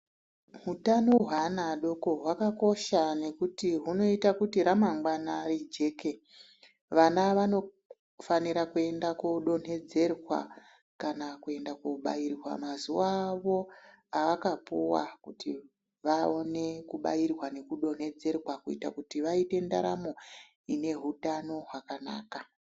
Utano hweana adoko hwakakosha nekuti hunoita kuti ramangwana rijeke. Vana vanofanira kuenda kuodonhedzerwa kana kuenda kuobairwa mazuva avo avakapuwa, kuti vaone kubairwa nekudonhedzerwa. Kuita kuti vaite ndaramo inehutano hwakanaka.